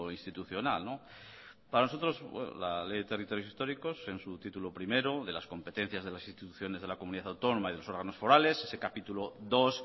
institucional para nosotros la ley de territorios históricos en su título primero de las competencias de las instituciones de la comunidad autónoma y de los órganos forales ese capítulo dos